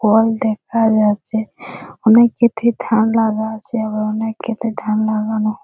Call দেখা যাচ্ছে । অনেক খেতে ধান লাগা আছে আর অনেক খেতে ধান লাগানো--